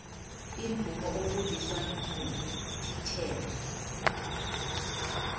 imvumo ofundiswa ngititjhere